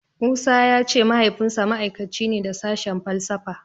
Musa ya ce Mahaifinsa ma'aikaci ne da sashen falsafa.